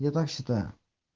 я так считаю